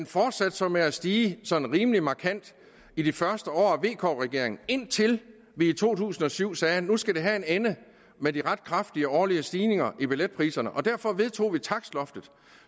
fortsatte så med at stige sådan rimelig markant i de første år vk regeringen indtil vi i to tusind og syv sagde at nu skulle det have en ende med de ret kraftige årlige stigninger i billetpriserne derfor vedtog vi takstloftet